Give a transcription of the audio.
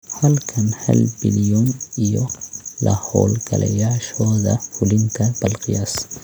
Halkan, halbillion iyo la-hawlgalayaashooda fulinta Bal qiyaas